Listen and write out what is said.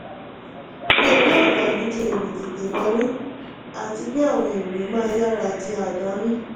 mi ò rí àǹfààní ju èrè tètè wọlé àti pé àwọn èrè máa yára di àdánù.